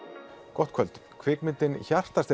gott kvöld kvikmyndin